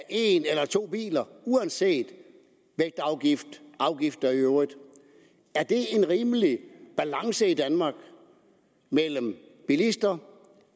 en eller to biler uanset vægtafgift og afgifter i øvrigt er det en rimelig balance mellem bilister